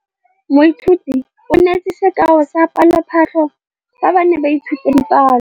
Moithuti o neetse sekaô sa palophatlo fa ba ne ba ithuta dipalo.